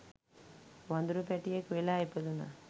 වඳුරු පැටියෙක් වෙලා ඉපදුණා.